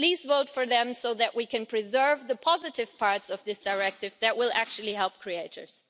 Please vote for them so that we can preserve the positive parts of this directive that will actually help creators.